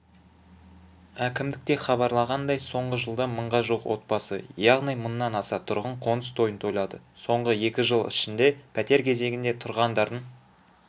әкімдікте хабарлағандай соңғы жылда мыңға жуық отбасы яғни мыңнан аса тұрғын қоныс тойын тойлады соңғы екі жыл ішінде пәтер кезегінде тұрғандардың